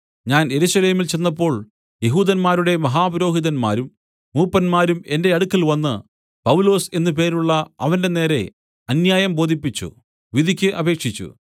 ഞാൻ യെരൂശലേമിൽ ചെന്നപ്പോൾ യെഹൂദന്മാരുടെ മഹാപുരോഹിതന്മാരും മൂപ്പന്മാരും എന്റെ അടുക്കൽവന്ന് പൗലൊസ് എന്നു പേരുള്ള അവന്റെനേരെ അന്യായം ബോധിപ്പിച്ച് വിധിക്ക് അപേക്ഷിച്ചു